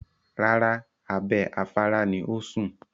Rárá, abẹ́ afárá ni ó ń sùn.